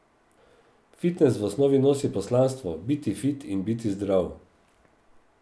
Fitnes v osnovi nosi poslanstvo, biti fit in biti zdrav.